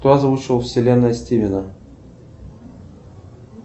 кто озвучивал вселенная стивена